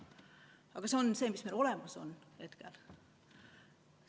Aga see on see, mis meil praegu olemas on.